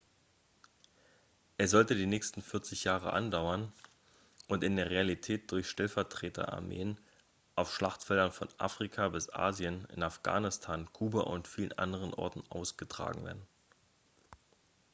er sollte die nächsten 40 jahre andauern und in der realität durch stellvertreter-armeen auf schlachtfeldern von afrika bis asien in afghanistan kuba und vielen anderen orten austragen werden